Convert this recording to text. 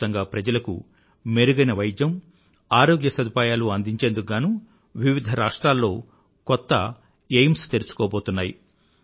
దేశవ్యాప్తంగా ప్రజలకు మెరుగైన వైద్యం ఆరోగ్య సదుపాయాలూ అందించేందుకు గానూ వివిధ రాష్ట్రాల్లో కొత్త ఏఐఐఎంఎస్ తెరుచుకోబోతున్నాయి